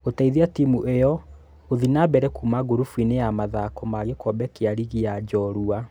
Gũteithia tĩmũ iyo gũthie na mbere kuma gurubuinĩ ya mathako ma gĩkombe kĩa rigi ya njorua.